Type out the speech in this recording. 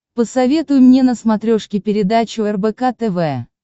посоветуй мне на смотрешке передачу рбк тв